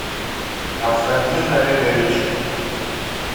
константин олегович